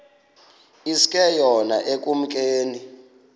iske yona ekumkeni